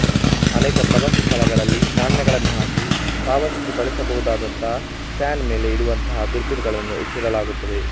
ಅನೇಕ ಪ್ರವಾಸಿ ಸ್ಥಳಗಳಲ್ಲಿ ನಾಣ್ಯಗಳನ್ನು ಹಾಕಿ ಪಾವತಿಸಿ ಬಳಸಬಹುದಾದಂತಹ ಸ್ಟ್ಯಾಂಡ್ ಮೇಲೆ ಇಡುವಂತಹ ದುರ್ಬೀನುಗಳನ್ನು ಇಟ್ಟಿರಲಾಗುತ್ತದೆ